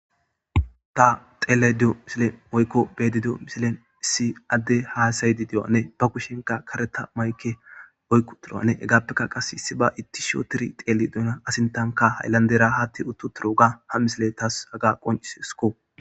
ta teele dio misile oykko beedido misilen issi adde haasaydi diyoanne ba kushenka kareta mayke oykku turoanne hegaappekka qas issi ba ittisho tiri xeeli duuna asintanka hayllandera haatti uttu turo ga ha misile taas haga qoncis sko